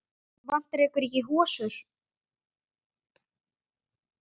Vantar ykkur ekki hosur?